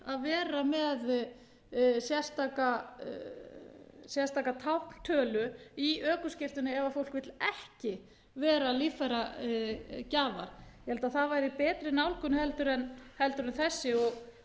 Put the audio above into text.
frá því að vera með sérstaka tákntölu í ökuskírteini ef fólk vill ekki vera líffæragjafar ég held að það væri betri nálgun en þessi